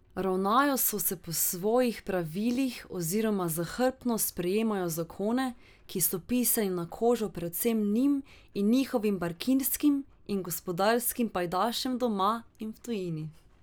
Ravnajo so se po svojih pravilih oziroma zahrbtno sprejemajo zakone, ki so pisani na kožo predvsem njim in njihovim bankirskim in gospodarskim pajdašem doma in v tujini.